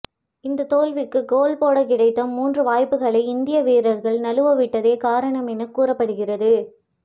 இந்த தோல்விக்கு கோல் போட கிடைத்த மூன்று வாய்ப்புகளை இந்திய வீரர்கள் நழுவவிட்டதே காரணம் என கூறப்படுகிறறது